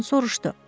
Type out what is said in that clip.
Qadın soruşdu.